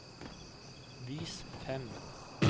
vis fem